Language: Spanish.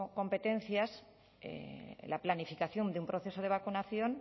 competencias la planificación de un proceso de vacunación